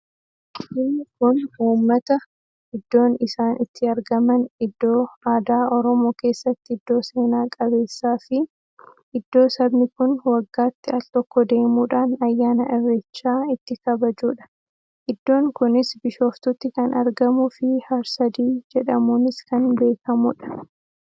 Inni kun uummata. Iddoon isaan itti argaman iddoo aadaa oromoo keessatti iddoo seena-qabeessaa fi iddoo sabni kun waggaatti al-tokko deemuudhaan ayyaana irreechaa itti kabajuudha. Iddoon kunis bishooftutti kan argamuu fi har-sadii jedhamuunis kan beekkamuudha.